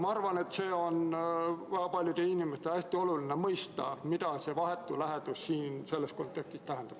Ma arvan, et paljudel inimestel on hästi oluline mõista, mida see vahetu lähedus selles kontekstis tähendab.